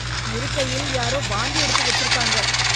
இருக்கையில் யாரோ வாந்தி எடுத்து வச்சிருக்காங்க